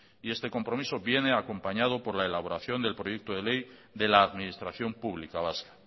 y este compromiso viene acompañado por la elaboración del proyecto de ley de la administración pública vasca